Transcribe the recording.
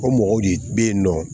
O mɔgɔw de bɛ yen nɔ